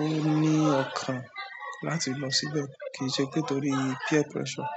ó ní ọ̀kan láti lọ síbẹ̀ kìí ṣe pé torí peer pressure.